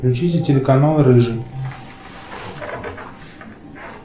включите телеканал рыжий